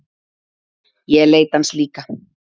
Ég leita hans líka.